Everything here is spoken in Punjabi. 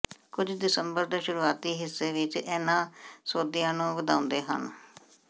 ਕੁਝ ਦਸੰਬਰ ਦੇ ਸ਼ੁਰੂਆਤੀ ਹਿੱਸੇ ਵਿੱਚ ਇਹਨਾਂ ਸੌਦਿਆਂ ਨੂੰ ਵਧਾਉਂਦੇ ਹਨ